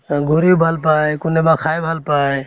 ঘুৰি ভাল পায় কোনেবা খাই